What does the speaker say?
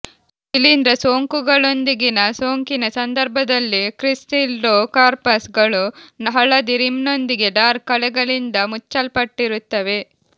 ಶಿಲೀಂಧ್ರ ಸೋಂಕುಗಳೊಂದಿಗಿನ ಸೋಂಕಿನ ಸಂದರ್ಭದಲ್ಲಿ ಕ್ರಿಸ್ಸಿಲ್ಡೋಕಾರ್ಪಸ್ ಗಳು ಹಳದಿ ರಿಮ್ಸ್ನೊಂದಿಗೆ ಡಾರ್ಕ್ ಕಲೆಗಳಿಂದ ಮುಚ್ಚಲ್ಪಟ್ಟಿರುತ್ತವೆ